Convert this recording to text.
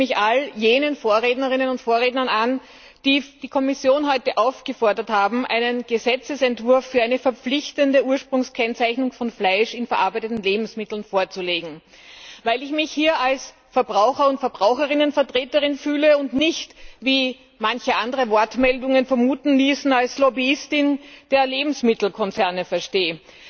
Ich schließe mich all jenen Vorrednerinnen und Vorrednern an, die die Kommission heute aufgefordert haben, einen Gesetzesentwurf für eine verpflichtende Ursprungskennzeichnung von Fleisch in verarbeiteten Lebensmitteln vorzulegen, weil ich mich hier als Verbraucher und Verbraucherinnenvertreterin fühle und mich nicht, wie manche andere Wortmeldungen vermuten ließen, als Lobbyistin der Lebensmittelkonzerne verstehe.